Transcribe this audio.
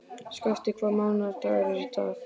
Skafti, hvaða mánaðardagur er í dag?